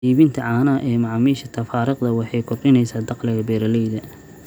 Iibinta caanaha ee macaamiisha tafaariiqda waxay kordhinaysaa dakhliga beeralayda.